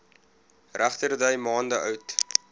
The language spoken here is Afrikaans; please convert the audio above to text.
regterdy maande oud